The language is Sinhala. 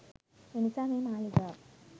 එනිසා මේ මාලිගාව